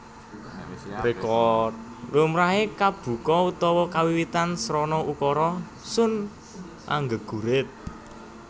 Lumrahe kabuka utawa kawiwitan srana ukara Sun anggegurit